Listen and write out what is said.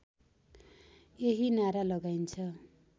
यही नारा लगाइन्छ